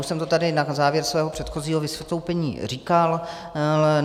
Už jsem to tady na závěr svého předchozího vystoupení říkal.